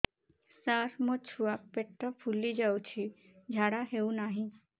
ସାର ମୋ ଛୁଆ ପେଟ ଫୁଲି ଯାଉଛି ଝାଡ଼ା ହେଉନାହିଁ